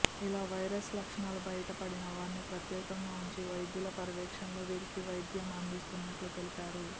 ఇలా వైరస్ లక్షణాలు బయటపడిన వారిని ప్రత్యేకంగా ఉంచి వైద్యుల పర్యవేక్షణలో వీరికి వైద్యం అందించినట్లు తెలిపారు